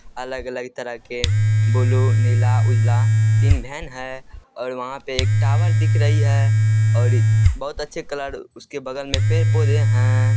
अलग-अलग तरह के ब्लू नीला उजला तीन वैन है और वहाँ पे एक टावर दिख रही है और बहुत अच्छे कलर उसके बगल में पेड़ पौधे हैं।